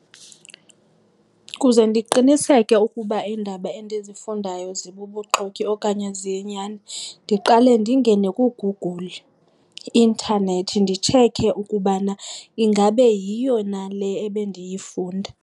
Kuze ndiqiniseke ukuba iindaba endizifundayo zibubuxoki okanye ziyinyani ndiqale ndingene kuGoogle, i-intanethi, nditshekhe ukubana ingabe yiyo na le ebendiyifunda.